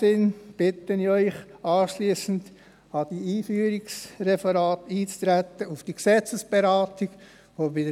Ich bitte Sie, anschliessend an die Einführungsreferate, auf die Gesetzesberatung einzutreten.